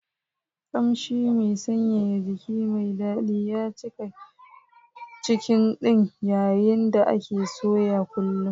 Kamshi mai sanyaya jiki mai daɗi ya cika kicin ɗin yayin da ake soya kullu.